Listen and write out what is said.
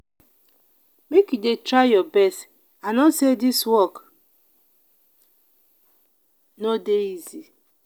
make you dey try your best i know sey dis work no dey easy.